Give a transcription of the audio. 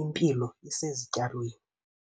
impilo isezityalweni.